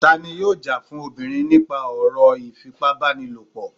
tani yóò já fún obirin nipa ọro ifípábánílọpọ?